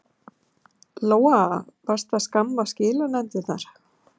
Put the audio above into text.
Lóa: Varstu að skamma skilanefndirnar?